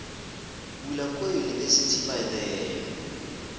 bula kua university by the